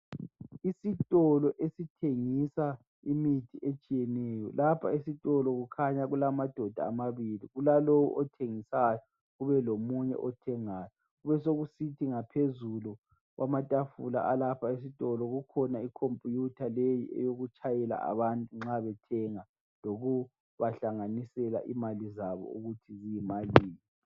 Isitolo esithengisa imithi etshiyeneyo. Lapha esitolo kukhanya kulamadoda amabili, kulalowo othengisayo kubelomunye othengayo Kubesekusithi ngaphezulu kwamatafula alapha esitolo, kukhona icompuyutha leyi yokubatshayela abantu nxa bethenga lokubahlanganisela imali zabo lokuthi yimalini.